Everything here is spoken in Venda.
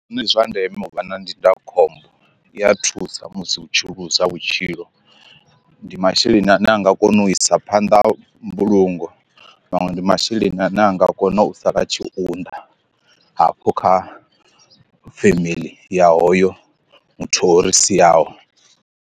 Ndi zwa ndeme u vha na ndindakhombo iya thusa musi u tshi ḽuza vhutshilo, ndi masheleni ane a nga kona u isa phanḓa mbulungo Maṅwe ndi masheleni ane a nga kona u sala a tshi unḓ hafho kha family ya hoyo muthu o ri siaho.